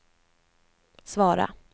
svara